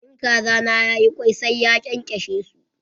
In kaza na ya yi kwai, sai ya kyankyashe su.